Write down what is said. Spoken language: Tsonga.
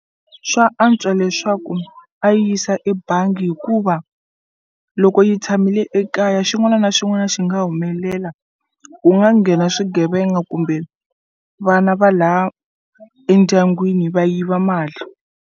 Swa antswa leswaku a yi yisa ebangi hikuva loko yi tshamile ekaya xin'wana na xin'wana xi nga humelela ku nga nghena swigevenga kumbe vana va la endyangwini va yiva mali.